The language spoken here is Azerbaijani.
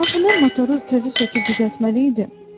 Axı mən motoru təzə söküb düzəltməli idim.